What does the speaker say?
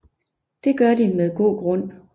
Det gør de med god grund